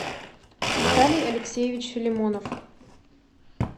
виталий алексеевич филимонов